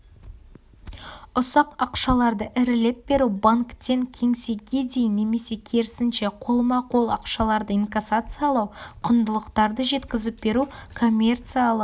ұсақ ақшаларды ірілеп беру банктен кеңсеге дейін немесе керісінше қолма-қол ақшаларды инкассациялау құндылықтарды жеткізіп беру коммерциялық